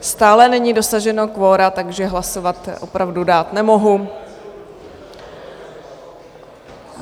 Stále není dosaženo kvora, takže hlasovat opravdu dát nemohu.